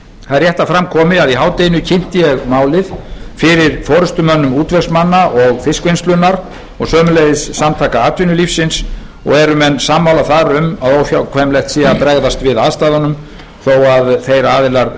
það er rétt að fram komi að í hádeginu kynnti ég málið fyrir forustumönnum útvegsmanna og fiskvinnslunnar og sömuleiðis samtaka atvinnulífsins og eru menn þar sammála um að óhjákvæmilegt sé að bregðast við aðstæðunum þó að þeir aðilar